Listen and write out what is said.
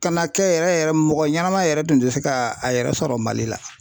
Ka na kɛ yɛrɛ yɛrɛ mɔgɔ ɲanama yɛrɛ tun tɛ se ka a yɛrɛ sɔrɔ Mali la.